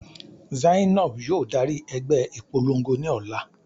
Zainab yóò dari ẹgbẹ ipolongo ni ọla